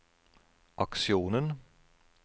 aksjonen